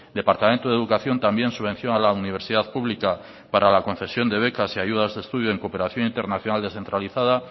departamento de educación también subvención a la universidad pública para la concepción de becas y ayudas de estudio en cooperación internacional descentralizada